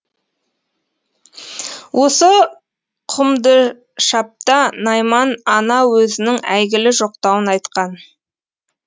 осы құмдышапта найман ана өзінің әйгілі жоқтауын айтқан